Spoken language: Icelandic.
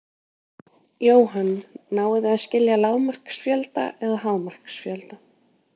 Jóhann: Náið þið að skila lágmarksfjölda eða hámarksfjölda?